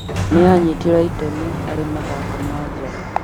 Nĩ anyitire itemi harĩ mathako ma nja